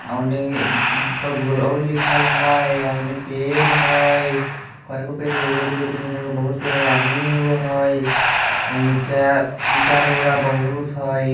ओने और लिखल हैय और ओने पेड़ हैय के गो पेड़ हैय एगो दुगो तीनगो चारगो बहुत पेड़ हैय आदमी एगो हैय आ नीचा ईटा रोड़ा बहुत हैय।